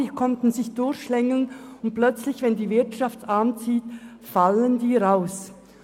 Diese Leute konnten sich durchschlängeln und plötzlich, wenn die Wirtschaft anzieht, fallen sie raus.